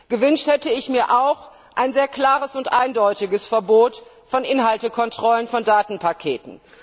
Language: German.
Gewünscht hätte ich mir auch ein sehr klares und eindeutiges Verbot von Kontrollen der Inhalte von Datenpaketen.